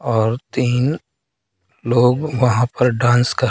और तीन लोग वहां पर डांस कर--